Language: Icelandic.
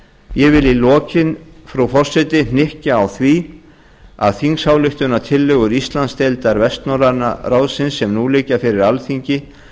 ég vil í lokin frú forseti hnykkja á því að þingsályktunartillögur íslandsdeildar vestnorræna ráðsins sem nú liggja fyrir alþingi